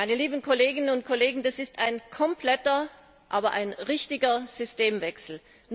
Meine lieben Kolleginnen und Kollegen, das ist ein kompletter, aber ein richtiger Systemwechsel!